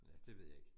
Ja, det ved jeg ikke